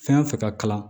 Fɛn fɛn ka kalan